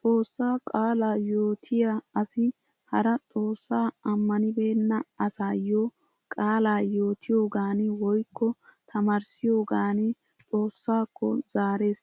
Xoossaa qaalaa yootiyaa asi hara xoossaa ammanibeenna asaayyo qaalaa yootiyoogaani woykko tamaarissiyoogan xoossaakko zaarees.